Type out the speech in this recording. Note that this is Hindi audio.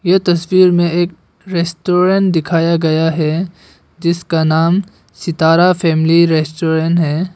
ये तस्वीर में एक रेस्टोरेंट दिखाया गया है जिसका नाम सितारा फैमिली रेस्टोरेंट है।